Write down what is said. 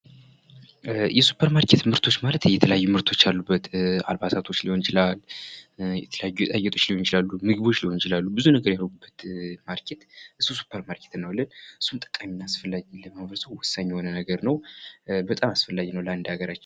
የሱፐርማርኬት ምርቶች ማለት የተለያየ ምርቶች አሉበት፤ አልባሳቶች ሊሆን ይችላል የተለያዩ ሊሆን ይችላሉ ብዙ ነገር ያለበት ቦታ ሱፐርማርኬትን እንለዋለን እና ለሃገራችን በጣም ወሳኝ የሆነ ነገር ነው፡፡